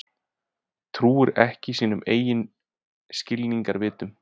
Trúir ekki sínum eigin skilningarvitum.